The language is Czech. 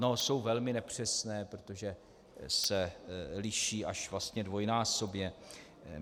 No, jsou velmi nepřesné, protože se liší až dvojnásobně.